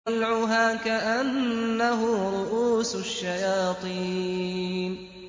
طَلْعُهَا كَأَنَّهُ رُءُوسُ الشَّيَاطِينِ